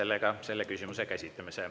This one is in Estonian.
Lõpetan selle küsimuse käsitlemise.